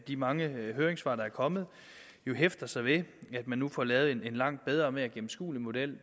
de mange høringssvar der er kommet jo hæfter sig ved at man nu får lavet en langt bedre og mere gennemskuelig model